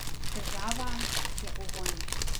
Država je v vojni.